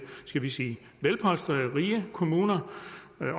skal vi sige velpolstrede rige kommuner